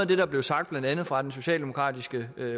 der blev sagt blandt andet fra den socialdemokratiske